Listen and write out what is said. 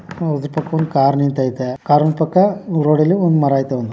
ಅದರ ಪಕ್ಕ ಒಂದು ಕಾರ್ ನಿಂತೈತೆ ಕಾರ್ ನ ಪಕ್ಕ ರೋಡ್ ಅಲ್ಲಿ ಒಂದು ಮರ ಐತೆ ಒಂದು .